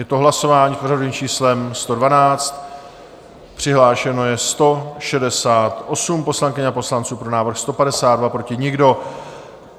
Je to hlasování s pořadovým číslem 112, přihlášeno je 168 poslankyň a poslanců, pro návrh 152, proti nikdo.